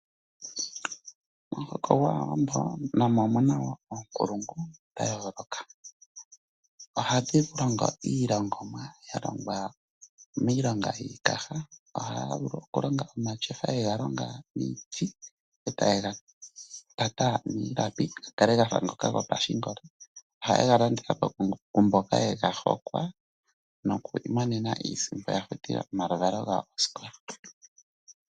Momuhoko gwaAawambo namo omuna wo oonkulungu dha yooloka. Ohadhi longo iilongomwa ya longwa miilonga yiikaha. Ohaya vulu okulonga omatyofa yega longa miiti etaye gatata niilapi ga kale gafa ngoka gopashingolo. Ohaye ga landitha po kumboka yega hokwa noku imonena iisimpo ya futile omaluvalo gawo osikola.